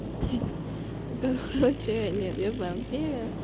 короче нет я знаю где я